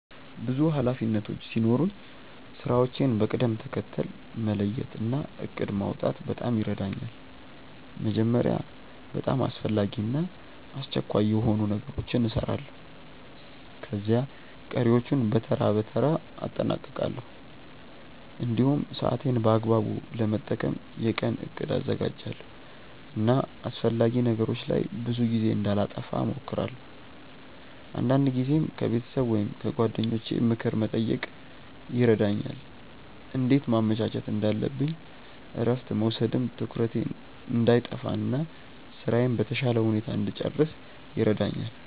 ብዙ ኃላፊነቶች ሲኖሩኝ ስራዎቼን በቅደም ተከተል መለየት እና እቅድ ማውጣት በጣም ይረዳኛል። መጀመሪያ በጣም አስፈላጊ እና አስቸኳይ የሆኑ ነገሮችን እሰራለሁ፣ ከዚያ ቀሪዎቹን በተራ በተራ አጠናቅቃለሁ። እንዲሁም ሰዓቴን በአግባቡ ለመጠቀም የቀን እቅድ አዘጋጃለሁ እና አላስፈላጊ ነገሮች ላይ ብዙ ጊዜ እንዳላጠፋ እሞክራለሁ። አንዳንድ ጊዜም ከቤተሰብ ወይም ከጓደኞቼ ምክር መጠየቅ ይረዳኛል እንዴት ማመቻቸት እንዳለብኝ እረፍት መውሰድም ትኩረቴን እንዳይጠፋ እና ስራዬን በተሻለ ሁኔታ እንድጨርስ ይረዳኛል።